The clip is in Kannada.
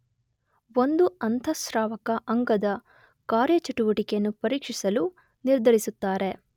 ಒಂದು ಅಂತಃಸ್ರಾವಕ ಅಂಗದ ಕಾರ್ಯಚಟುವಟಿಕೆಯನ್ನು ಪರೀಕ್ಷಿಸಲು ನಿರ್ಧರಿಸುತ್ತಾರೆ